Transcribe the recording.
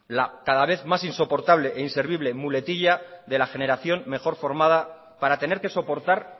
cada vez más insoportable e inservible muletilla de la generación mejor formada para tener que soportar